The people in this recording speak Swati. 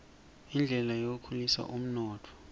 indlela yekukhulisa umnotfo